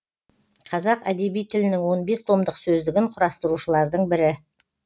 қазақ әдеби тілінің он бес томдық сөздігін құрастырушылардың бірі